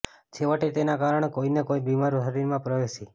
છેવટે તેના કારણે કોઈ ને કોઈ બીમારી શરીરમાં પ્રવેશી